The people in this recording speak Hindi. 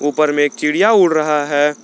ऊपर में एक चिड़िया उड़ रहा है।